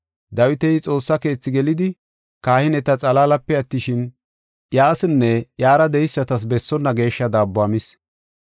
Dawiti Xoossaa keethi gelidi kahineta xalaalape attishin, inne iyara de7eysatas bessonna geeshsha daabbuwa mis.